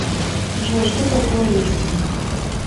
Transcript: джой что такое листинг